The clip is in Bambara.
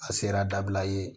A sera dabila ye